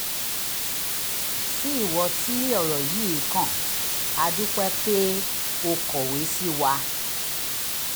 sí ìwọ tí ọ̀rọ̀ yìí kàn a dúpẹ́ pé o kọ̀wé sí wa